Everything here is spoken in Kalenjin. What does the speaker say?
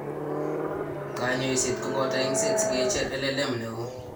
Kanyoiset ko boto eng'set si kecher LLM neo.